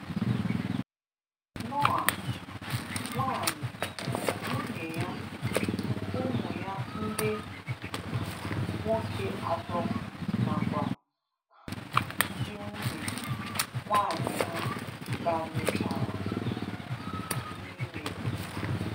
Nọah, nwanyị/nwunye ya, ụmụ ya ndị um nwoke atọ na kwa um ndị nwunye/nwanyị ha banye-chara um n’ime.